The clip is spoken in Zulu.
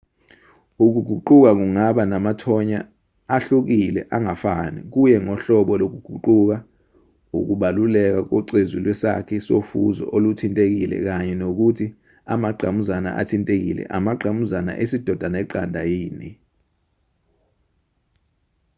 ukuguquka kungaba namathonya ahlukile angafani kuye ngohlobo lokuguquka ukubaluleka kocezu lwesakhi sofuzo oluthintekile kanye nokuthi amangqamuzana athintekile amangqamuzana esidoda neqanda yini